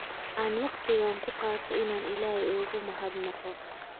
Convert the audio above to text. Aan wakhtigan ku qaato inaan Ilaahay ugu mahadnaqo